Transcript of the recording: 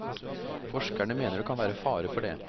Forskerne mener det kan være fare for det.